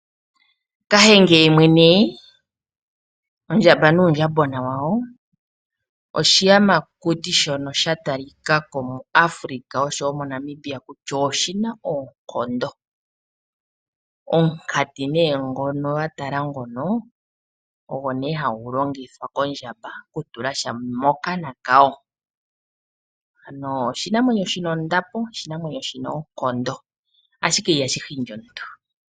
Kahenge yemwene, ondjamba nuundjambona wayo. Oshiyamakuti shono sha talika ko muAfrika oshowo moNamibia kutya oshi na oonkondo. Omunkati gwayo ogo hagu longithwa kondjamba okutula sha mokana kwayo. Ano oshinamwenyo shi na ondapo, oshinamwenyo shi na oonkondo, ashike ihashi hindi omuntu.